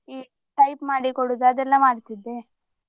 ಹ್ಮ್ type ಮಾಡಿ ಕೊಡುದು ಅದೆಲ್ಲಾ ಮಾಡ್ತಿದ್ದೆ.